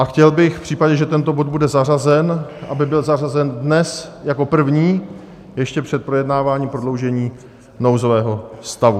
A chtěl bych v případě, že tento bod bude zařazen, aby byl zařazen dnes jako první, ještě před projednáváním prodloužení nouzového stavu.